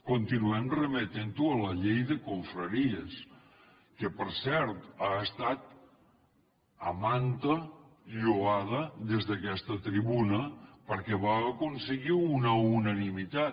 continuem remetent ho a la llei de confraries que per cert ha estat a manta lloada des d’aquesta tribuna perquè va aconseguir una unanimitat